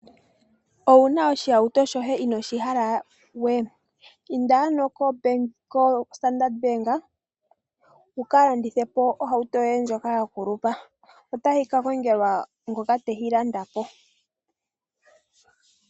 Owuna oshihawuto shoye inooshi hala we? Inda ano ko standard-Bank wuka landithe po ohawuto yoye ndjoka ya kulupa, otayi ka kongelwa ngoka tayi landa po.